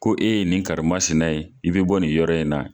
Ko e ye nin karimasina ye, i bi bɔ nin yɔrɔ in na